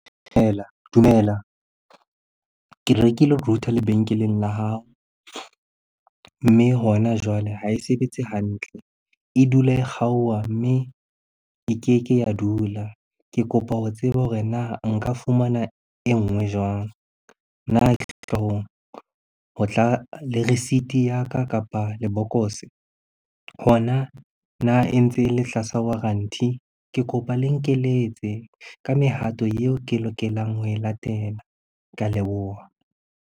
Dumela. Ke rekile router lebenkeleng la hao mme hona jwale ha e sebetse hantle. E dula e kgaoha mme e keke ya dula. Ke kopa ho tseba hore na nka fumana e nngwe jwang? Na ho tla le receipt ya ka kapa lebokose? Hona na e ntse e le tlasa warranty? Ke kopa le nkeletse ka mehato eo ke lokelang ho e latela. Ke a leboha.